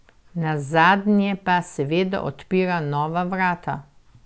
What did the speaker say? Nazadnje pa seveda odpira nova vrata.